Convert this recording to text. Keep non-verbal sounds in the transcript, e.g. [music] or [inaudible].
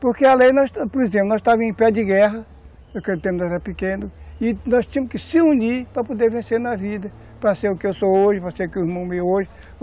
Porque, [unintelligible] por exemplo, nós estávamos em pé de guerra, naquele tempo éramos pequenos, e nós tínhamos que nos unir para vencermos na vida, para ser o que eu sou hoje, para ser [unintelligible]